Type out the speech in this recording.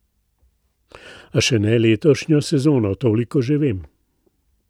A še ne letošnjo sezono, toliko že vem.